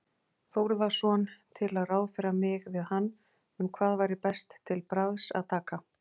Þórðarson til að ráðfæra mig við hann um hvað væri best til bragðs að taka.